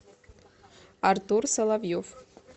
артур соловьев